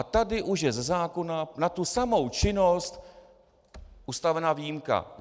A tady už je ze zákona na tu samou činnost ustavena výjimka.